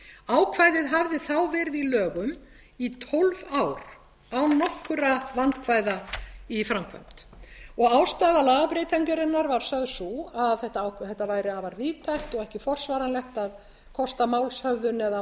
ákvæðið hafði þá verið í lögum í tólf ár án nokkurra vandkvæða í framkvæmd og ástæða lagabreytingarinnar var sögð sú að þetta væri afar víðtækt og ekki forsvaranlegt að kosta málshöfðun eða